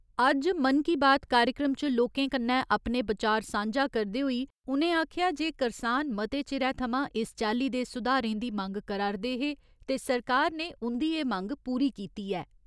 अज्ज मन की बात कार्यक्रम च लोकें कन्नै अपने बचार सांझा करदे होई उ'नें आखेआ जे करसान मते चिरै थमां इस चाल्ली दे सुधारें दी मंग करा रदे हे ते सरकार ने उंदी एह्‌ मंग पूरी कीती ऐ।